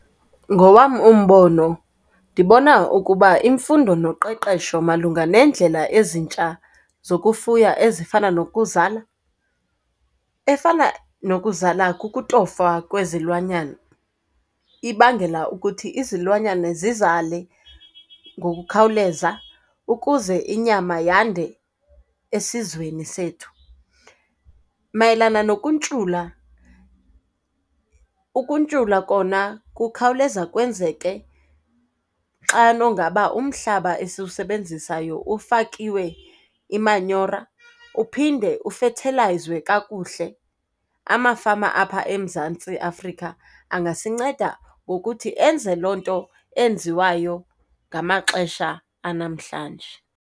Ngowam umbono ndibona ukuba imfundo noqeqesho malunga neendlela ezintsha zokufuya ezifana nokuzala. Efana nokuzala kukutofa kwezilwanyana, ibangela ukuthi izilwanyana zizale ngokukhawuleza ukuze inyama yande esizweni sethu. Mayelana nokuntshula, ukuntshula kona kukhawuleza kwenzeke xano ngaba umhlaba esiwusebenzisayo ufakiwe imanyora, uphinde ufethelwayizwe kakuhle. Amafama apha eMzantsi Afrika angasinceda ngokuthi enze loo nto enziwayo ngamaxesha anamhlanje.